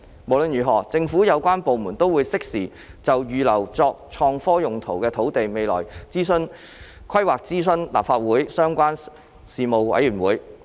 無論如何，政府有關部門都會適時就預留作創科用途土地的未來規劃諮詢立法會相關事務委員會。